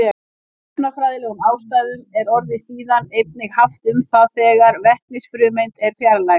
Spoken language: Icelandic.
Af efnafræðilegum ástæðum er orðið síðan einnig haft um það þegar vetnisfrumeind er fjarlægð.